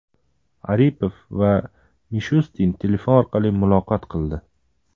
Aripov va Mishustin telefon orqali muloqot qildi.